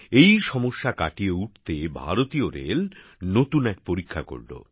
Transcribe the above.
এই সমস্যা কাটিয়ে উঠতে ভারতীয় রেল নতুন এক পরীক্ষা করল